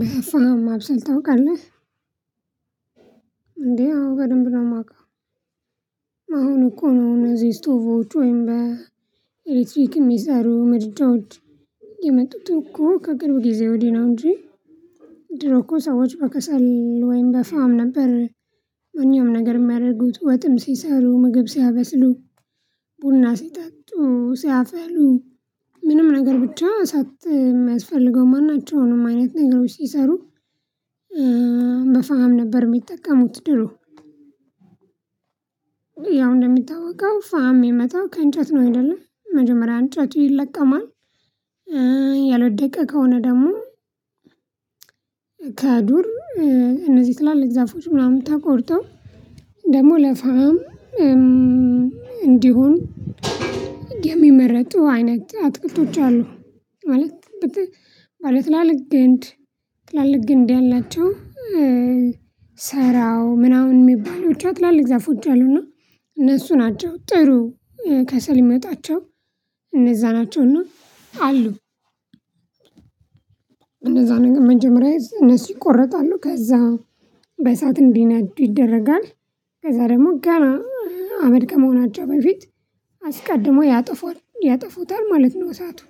በፍህም ማብሰል ታውቃለህ? እንዴ አዎ በደንብ ነው የማውቀው። አሁን እኮ ነው እነዚህ ስቶቮች ወይም በኤሌክትሪክ የሚሰሩ ምርጫዎች። የመጡት እኮ ከቅርብ ጊዜ ወዲህ ነው እንጂ። ድሮ እኮ ሰዎች በከሰል ወይም በፋም ነበር። እኛም ነገር የሚያደርጉት ወጥም ሲሰሩ ምግብ ሲያበስሉ ቡና ሲጠጡ ሲያፈሉ ምንም ነገር ብቻ ሳት የሚያስፈልገው መሆን ናቸው አይነት ነገሮች ሲሰሩ። በፋም ነበር የሚጠቀሙት ድሮ። ያው እንደምታውቀው ፋም የመጣው ከእንጨት ነው አይደለም መጀመሪያ እንጨት ይለቀማል። ያሎደቀ ከሆነ ደግሞ ከዱር እነዚህ ትላለች እግዚአብሔር ምናምን ተቆርጦ ደግሞ ለፋም እንዲሆን የሚመረጡ አይነት አትክልቶች አሉ። ማለት ማለት ላለግንድ ግንድ ትላልቅ ግንድ ያላቸው ሰራው ምናምን የሚባሉት ትላልቅ ዛፎች አሉና እነሱ ናቸው ጥሩ። ከሰል የሚወጣቸው እነዛ ናቸው እና አሉ። እነዛ ነገር መጀመሪያ እነሱ ይቆረጣሉ ከዛ በሰአት እንዲነዱ ይደረጋል። ከዛ ደግሞ ጋራ አመድ ከመሆናቸው በፊት አስቀድሞ ያጠፋል ያጠፉታል ማለት ነው። በሰአቱ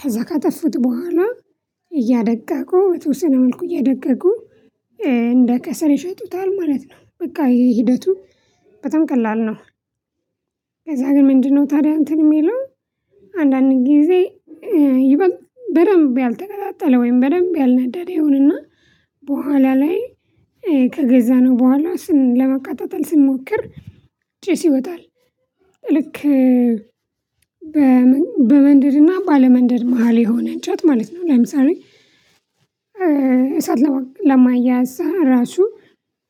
ከዛ ካጠፉት በኋላ እያደቀቁ በተወሰነ መልኩ እያደቀቁ እንደ ከሰል ይሸጡታል ማለት ነው። በቃ ይሄ ሂደቱ በጣም ቀላል ነው። ከዛ ግን ምንድነው ታዲያ እንትን የሚለው። አንዳንድ ጊዜ ይበል በደንብ ያልተቀጣጠለ ወይም በደንብ ያልነዳደረ ይሆንና በኋላ ላይ ከገዛነው በኋላ ስን ለመቃጠጠል ስንሞክር ጭስ ይወጣል። ልክ በመንደድና ባለመንደድ መሃል የሆነ እንጨት ማለት ነው። ላይም ሳሪ እሳት ለማያዝ ራሱ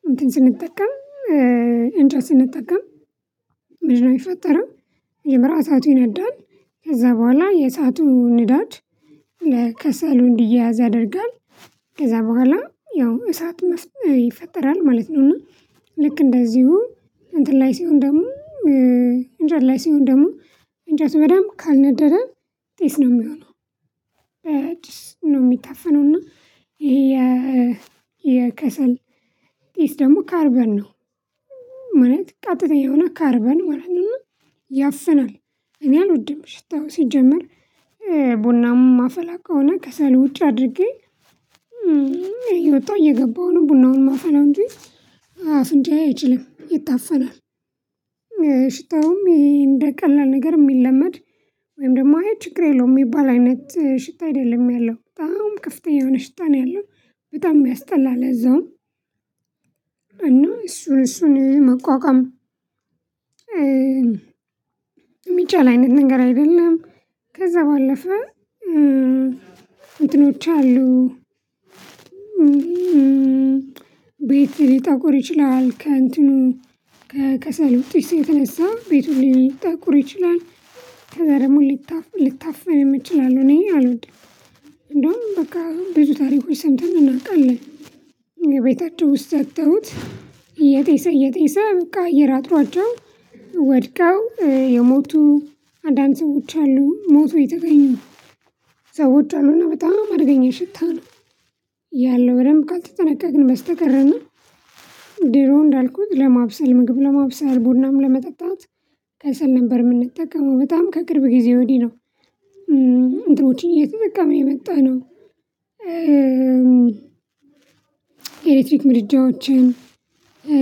እንትን ስንጠቀም እንትን ስንጠቀም። ምንድነው የሚፈጠረው የምራ እሳቱ ይነዳል። ከዛ በኋላ የእሳቱ ንዳድ ለከሰሉ እንዲያያዝ ያደርጋል። ከዛ በኋላ ያው እሳት መፍጠር ይፈጠራል ማለት ነው። እና ልክ እንደዚሁ እንትን ላይ ሲሆን ደግሞ እንጃ ላይ ሲሆን ደግሞ እንጃ ሰው በደንብ ካልነደደ ጢስ ነው የሚሆነው። ነው የሚታፈነው እና ይሄ የከሰል ደግሞ ካርበር ነው። እውነት ቀጥተኛ የሆነ ካርበን ማለት ነው እና ያፍናል። እኔ አልወድም ሽታው ሲጀመር ቡናውን ማፈላ ከሆነ ከሰል ውጭ አድርጌ እወጣሁ እየገባሁ ነው ቡናውን ማፈላው እንጂ አፍንጫ አይችልም ይታፈናል። ሽታውም ይሄ እንደ ቀላል ነገር የሚለመድ ወይም ደግሞ አይ ችግር የለውም የሚባል አይነት ሽታ አይደለም ያለው በጣም ከፍተኛ የሆነ ሸታ ነው ያለው። በጣም የሚያስጠላ ለዛውም እና እሱን እሱን መቋቋም የሚቻል አይነት ነገር አይደለም። ከዛ ባለፈ እንትኖች አሉ። ቤት ሊጠቁር ይችላል ከእንትኑ ከከሰልው ጢስ የተነሳ ቤቱን ሊጠቁር ይችላል። ከዛ ደግሞ ሊታፈንም ይችላሉ እኔ አልሆንኩም እንደውም በቃ ብዙ ታሪኮች ሰምተን እናውቃለን። የቤታቸው ውስጥ ሰጥተውት እየጤሰ እየጤሰ በቃ እየር አጥሯቸው ወድቀው የሞቱ አንዳንድ ሰዎች አሉ ሞተው የተገኘው ሰዎች አሉና በጣም አድርገኛ ሽታ ነው። ያለው በደንብ ካልተጠነቀቅን በስተቀርና ድሮ እንዳልኩት ለማብሰል ምግብ ለማብሰል ቡናም ለመጠጣት ከሰል ነበር የምንጠቀመው በጣም ከቅርብ ጊዜ ወዲህ ነው። እንትኖችን እየተጠቀምን የመጣነው ኤሌክትሪክ ምድጃዎችን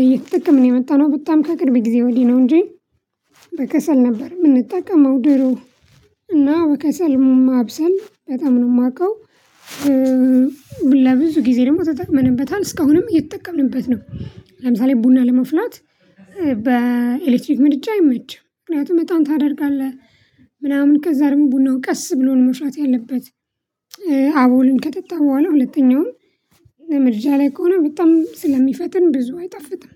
እየተጠቀምን የመጣነው በጣም ከቅርብ ጊዜ ወዲህ ነው። እንጂ በከሰል ነበር የምንጠቀመው ድሮ። እና በከሰል ማብሰል በጣም ነው የማውቀው። ለብዙ ጊዜ ደግሞ ተጠቅመንበታል እስካሁንም የተጠቀምንበት ነው። ለምሳሌ ቡና ለመፍላት በኤሌክትሪክ ምድጃ አይመችም ምክንያቱም በጣም ታደርጋለህ። ምናምን ከዛ ደግሞ ቡናው ቀስ ብሎን መፍላት ያለበት አቡሉን ከጠጣው በኋላ ሁለተኛውም ምድጃ ላይ ከሆነ በጣም ስለሚፈትን ብዙ አይጠፍጥም